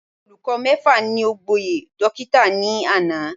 Olùkọ mẹ́fà ni o gboyè dókítà ní àná